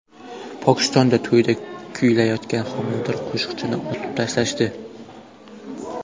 Pokistonda to‘yda kuylayotgan homilador qo‘shiqchini otib tashlashdi.